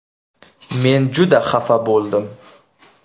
Men juda xafa bo‘ldim.